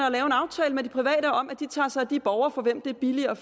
og lave en aftale med de private om at de tager sig af de borgere for hvem det er billigere